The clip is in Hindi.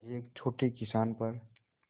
एक छोटे किसान पर